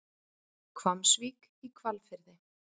Hvammsvík í Hvalfirði.